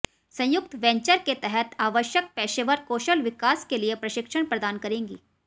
संयुक्त वेंचर के तहत आवश्यक पेशेवर कौशल विकास के लिए प्रशिक्षण प्रदान करेगी